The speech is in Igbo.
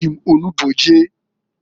E ji m onugbo je.